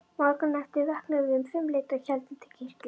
Morguninn eftir vöknuðum við um fimmleytið og héldum til kirkju.